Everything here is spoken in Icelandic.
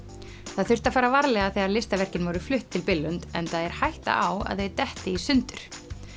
það þurfti að fara varlega þegar listaverkin voru flutt til Billund enda er hætta á að þau detti í sundur